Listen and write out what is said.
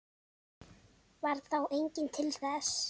Varð þá enginn til þess.